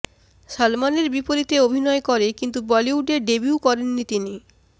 সালমানের বিপরীতে অভিনয় করে কিন্তু বলিউডে ডেবিউ করেননি তিনি